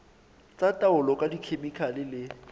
tsa taolo ka dikhemikhale le